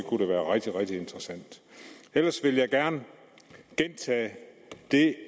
rigtig rigtig interessant ellers vil jeg gerne gentage det